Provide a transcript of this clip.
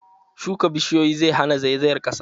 Shuka bishiyoyi zai hana zaizayar ƙasa.